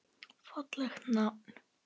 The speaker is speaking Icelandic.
Fallegt nafn.